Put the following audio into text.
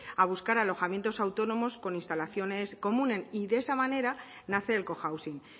a buscar alojamientos autónomos con instalaciones comunes y de esa manera nace el cohousing